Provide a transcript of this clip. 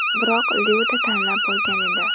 Biroq Lyuda tanlab bo‘lgan edi.